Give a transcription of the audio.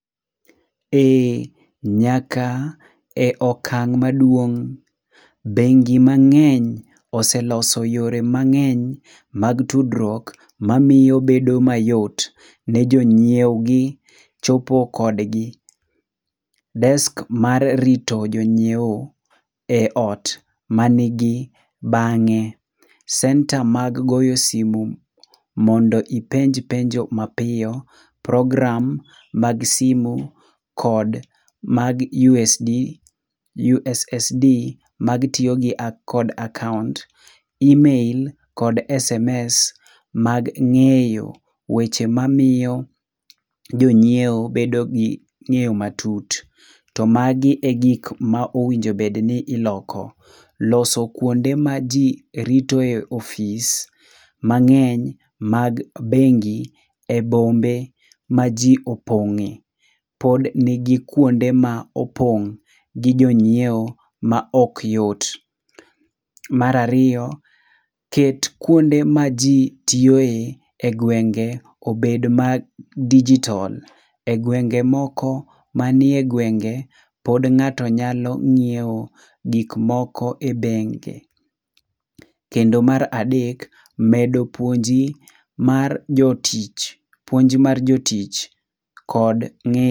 Ee nyaka e okang maduong' bengi mang'eny oseloso yore mang'eny mag tudruok ma miyo bedo mayot ne jonyiew gi chopo kod gi desk mar rito jongiewo e ot ma ni gi bange, center mag goyo simo mondo ipenj penjo mapiyo program mag simo kod mag usd ussd mag tiyo kod akaunt email kod sms mag ng'eyo weche ma miyo jonyiewo bedo gi ng'eyo matut. To magi e gik ma onego bed ni iloko, loso kuonde ma ji rito ofisi nmangeny mag bengi e bombe ma ji opong'e pod ni kuonde ma opong' gi jong'iewo ma ok yot .Mara ariyo, ket kuonde ma ji tiyo e e gwenge obed ma digital e gwenge moko ma ni e gwenge pod ng'ato nyalo ng'iewe gik moko e benge kendo mar aadek medo puonji mar jo tich puonj mar jotich kod ng'eyo.